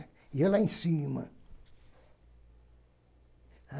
E eu lá em cima.